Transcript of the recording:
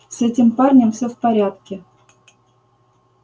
с этим парнем всё в порядке